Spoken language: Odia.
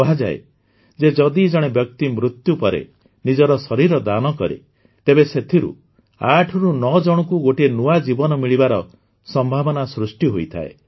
କୁହାଯାଏ ଯେ ଯଦି ଜଣେ ବ୍ୟକ୍ତି ମୃତ୍ୟୁ ପରେ ନିଜର ଶରୀର ଦାନ କରେ ତେବେ ସେଥିରୁ ୮ ରୁ ୯ ଜଣଙ୍କୁ ଗୋଟିଏ ନୂଆ ଜୀବନ ମିଳିବାର ସମ୍ଭାବନା ସୃଷ୍ଟି ହୋଇଥାଏ